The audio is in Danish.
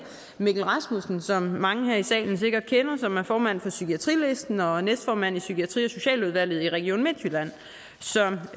mikkel rasmussen som mange her i salen sikkert kender som formand for psykiatri listen og næstformand i psykiatri og socialudvalget i region midtjylland